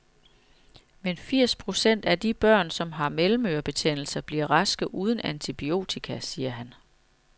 Men firs procent af de børn, som har mellemørebetændelse, bliver raske uden antibiotika, siger han.